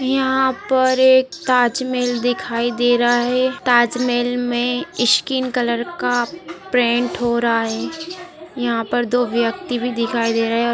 यहाँ पर एक ताजमहल दिखाई दे रहा हैं ताजमहल में स्किन कलर का पेंट हो रहा हैं यहाँ पर दो व्यक्ति भी दिखाई दे रहे हैं और --